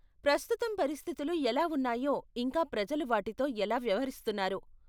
ప్రస్తుతం పరిస్థితులు ఎలా ఉన్నాయో ఇంకా ప్రజలు వాటితో ఎలా వ్యవహరిస్తున్నారో.